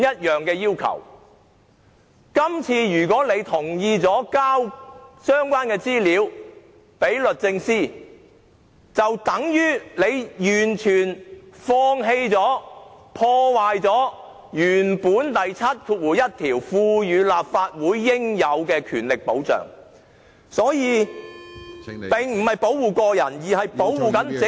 如果議員這次同意提交相關資料給律政司，便等於完全放棄、破壞《條例》第71條賦予立法會應有的權力保障......這並不是為保護個人，而是為保護整個......